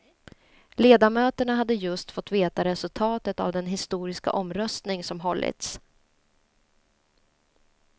Ledamöterna hade just fått veta resultatet av den historiska omröstning som hållits.